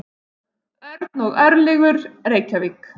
Örn og Örlygur, Reykjavík.